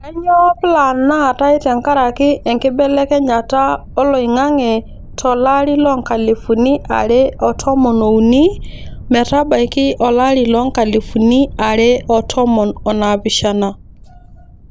Kainyioo plaanaatai tenkaraki enkibelekenyata oloing'ang'e to lari loonkalifuni are otomon ookuni metabaiki olari loonkalifuni are otomon onaapishana.